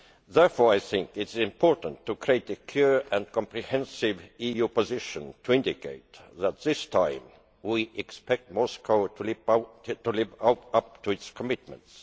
Therefore I think it is important to formulate a clear and comprehensive EU position to indicate that this time we expect Moscow to live up to its commitments.